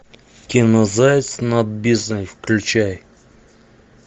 кино заяц над бездной включай